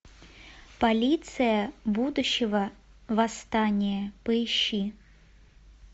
полиция будущего восстание поищи